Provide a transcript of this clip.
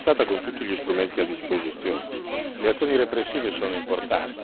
Le azioni repressive sono importanti ma non sono sufficienti.